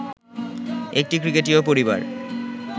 একটি ক্রিকেটীয় পরিবার